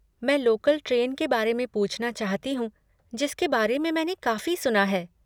मैं local train के बारे में पूछना चाहती हूँ जिसके बारे में मैंने काफ़ी सुना है।